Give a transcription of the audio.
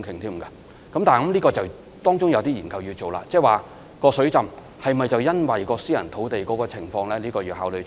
但是，當中必須進行一些研究，例如水浸是否因為私人土地的情況所引致呢？